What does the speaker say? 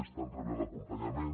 estan rebent l’acompanyament